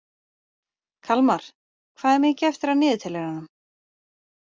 Kalmar, hvað er mikið eftir af niðurteljaranum?